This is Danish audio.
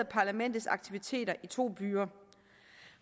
parlamentets aktiviteter i to byer